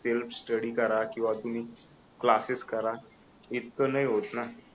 self study करा किंवा तुम्ही क्लासेस करा इतकं नाही होत ना